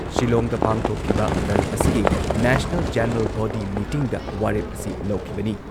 ꯁꯤꯜꯂꯣꯡꯗ ꯄꯥꯡꯊꯣꯛꯈꯤꯕ ꯗꯜ ꯑꯁꯤꯒꯤ ꯅꯦꯁꯅꯦꯜ ꯖꯦꯅꯔꯦꯜ ꯕꯣꯗꯤ ꯃꯤꯇꯤꯡꯗ ꯋꯥꯔꯦꯞ ꯑꯁꯤ ꯂꯧꯈꯤꯕꯅꯤ ꯫